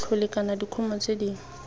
bolthole kana dikumo tse dingwe